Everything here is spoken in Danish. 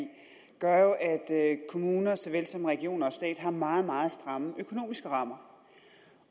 i gør at kommuner såvel som regioner og stat har meget meget stramme økonomiske rammer